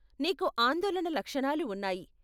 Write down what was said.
నీకు ఆందోళన లక్షణాలు ఉన్నాయి.